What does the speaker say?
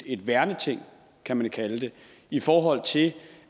et værneting kan man kalde det i forhold til